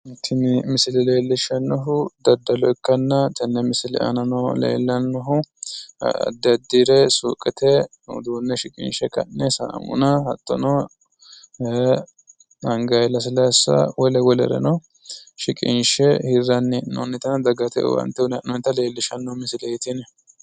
Tini misile lellishshannohu daddalo ikkanna, tenne misile aanano lellannohu addi addire suuqete uduunne shiqinshshe ka'ne saamuna hattono angayi lasilaassa wole wolereno shiqinshe hirranni hee'noonnita dagate owaantte uuyinayi hee'noonnita xawissanno misileeti tini.